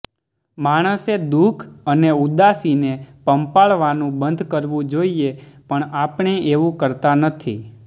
માણસે દુઃખ અને ઉદાસીને પંપાળવાનું બંધ કરવું જોઈએ પણ આપણે એવું કરતા નથી